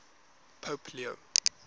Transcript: pope leo